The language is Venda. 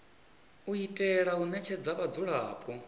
u itela u ṋetshedza vhadzulapo